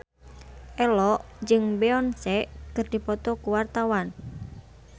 Ello jeung Beyonce keur dipoto ku wartawan